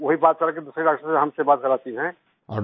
वो ही बात करके दूसरे डॉक्टर से हमसे बात कराती हैं